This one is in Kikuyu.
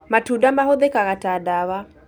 Matunda mahũthĩkaga ta ndawa